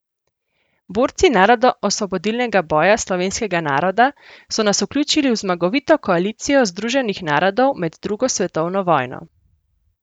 Borci narodno osvobodilnega boja slovenskega naroda so nas vključili v zmagovito koalicijo Združenih narodov med drugo svetovno vojno.